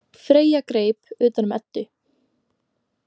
Freyja greip utan um Eddu.